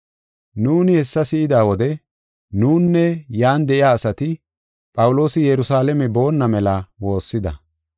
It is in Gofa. Nuuni hessa si7ida wode nunne yan de7iya asati Phawuloosi Yerusalaame boonna mela woossida.